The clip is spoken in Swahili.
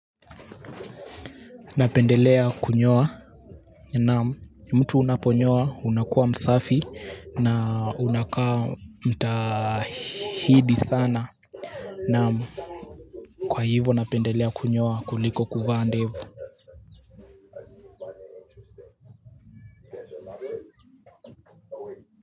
Napendelea kunyoa naam mtu unaponyoa unakuwa msafi na unakaa mtahidi sana na kwa hivyo napendelea kunyoa kuliko kuvaa ndevu.